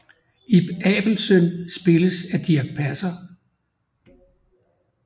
Ib Abelsøn spilles af Dirch Passer